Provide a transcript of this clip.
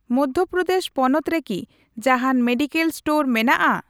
ᱢᱚᱫᱽᱫᱷᱚ ᱯᱨᱚᱫᱮᱥ ᱯᱚᱱᱚᱛ ᱨᱮᱠᱤ ᱡᱟᱦᱟᱱ ᱢᱮᱰᱤᱠᱮᱞ ᱥᱴᱳᱨ ᱢᱮᱱᱟᱜᱼᱟ ?